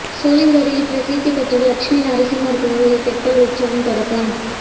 சோளிங்கரில் பிரசித்தி பெற்ற லட்சுமி நரசிம்மர் கோயிலில் தெப்பல் உற்சவம் தொடக்கம்